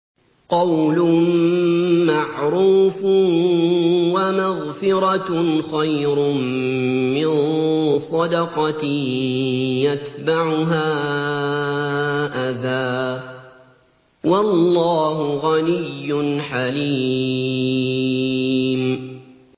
۞ قَوْلٌ مَّعْرُوفٌ وَمَغْفِرَةٌ خَيْرٌ مِّن صَدَقَةٍ يَتْبَعُهَا أَذًى ۗ وَاللَّهُ غَنِيٌّ حَلِيمٌ